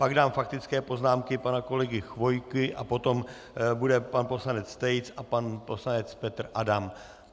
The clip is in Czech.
Pak dám faktické poznámky - pana kolegy Chvojky a potom bude pan poslanec Tejc a pan poslanec Petr Adam.